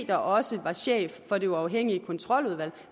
der også var chef for det uafhængige kontroludvalg